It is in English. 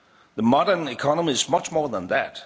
borders the modern economy is much more than